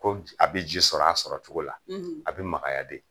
Ko a bɛ ji sɔrɔ a sɔrɔ cogo la a bɛ makaya de.